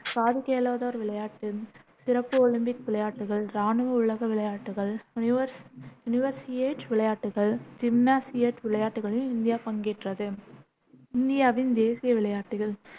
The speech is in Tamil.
காது கேளாதோர் விளையாட்டுகள், சிறப்பு ஒலிம்பிக் விளையாட்டுகள், இராணுவ உலக விளையாட்டுகள், யுனிவர்ஸ் யுனிவர்சியேட் விளையாட்டுகள், ஜிம்னாசியேட் விளையாட்டுகளிலும் இந்தியா பங்கேற்றது இந்தியாவின் தேசிய விளையாட்டுகள்